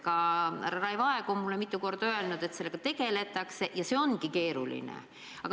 Härra Raivo Aeg on mulle mitu korda öelnud, et sellega tegeletakse, aga et see on keeruline.